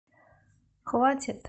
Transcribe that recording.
хватит